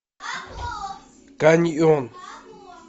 каньон